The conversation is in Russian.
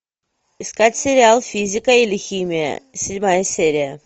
искать сериал физика или химия седьмая серия